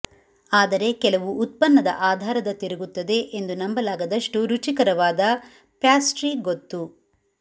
ಆದರೆ ಕೆಲವು ಉತ್ಪನ್ನದ ಆಧಾರದ ತಿರುಗುತ್ತದೆ ಎಂದು ನಂಬಲಾಗದಷ್ಟು ರುಚಿಕರವಾದ ಪ್ಯಾಸ್ಟ್ರಿ ಗೊತ್ತು